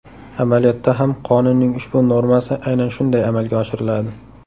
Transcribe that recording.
Amaliyotda ham qonunning ushbu normasi aynan shunday amalga oshiriladi.